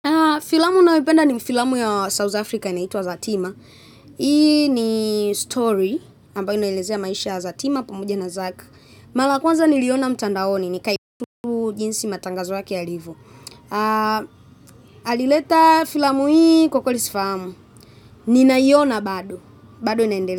Filamu nayoipenda ni filamu ya South Africa inaitwa Zatima. Hii ni story ambayo inaelezea maisha ya Zatima pamoja na Zak. Mala ya kwanza niliiona mtandaoni ni kaipu jinsi matangazo yake yalivyo. Alileta filamu hii kwa kweli sifahamu. Ninaiona bado. Bado naendelea.